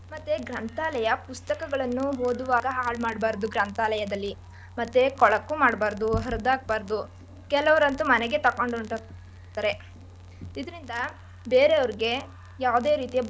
ಮತ್ತೆ ಗ್ರಂಥಾಲಯ ಪುಸ್ತಕಗಳನ್ನು ಓದುವಾಗ ಹಾಳ್ ಮಾಡ್ಬಾರ್ದು ಗ್ರಂಥಾಲಯದಲ್ಲಿ ಮತ್ತೆ ಕೊಳಕು ಮಾಡ್ಬಾರ್ದು ಹರ್ದಾಕ್ಬಾರ್ದು ಕೆಲುವ್ರ್ಯಾಂತ್ತು ಮನೆಗೆ ತಕೊಂಡ್ ಹೊರಟೋಗ್ತಾರೆ ಇದ್ರಿಂದ ಬೇರವರ್ಗೆ ಯಾವದೆ ರೀತಿಯ.